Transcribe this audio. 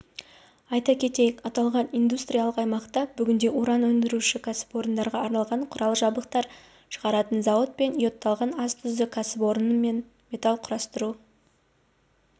айта кетейік аталған индустриялық аймақта бүгінде уран өндіруші кәсіпорындарға арналған құрал жабдықтар шығаратын зауыт пен йодталған ас тұзы кәсіпорны менметалл құрастыру